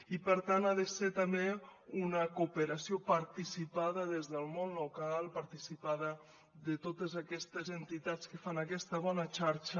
i per tant ha de ser també una cooperació participada des del món local participada de totes aquestes entitats que fan aquesta bona xarxa